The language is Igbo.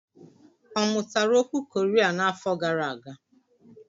Ọ mụtara okwu Koria n'afọ gara aga?